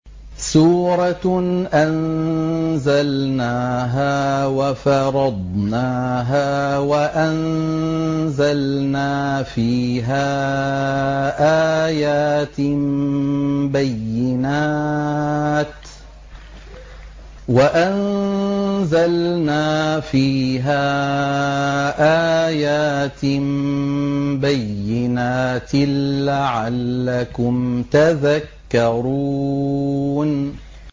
سُورَةٌ أَنزَلْنَاهَا وَفَرَضْنَاهَا وَأَنزَلْنَا فِيهَا آيَاتٍ بَيِّنَاتٍ لَّعَلَّكُمْ تَذَكَّرُونَ